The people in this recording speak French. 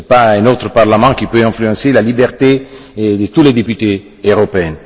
Ce n'est pas un autre parlement qui peut influencer la liberté de tous les députés européens.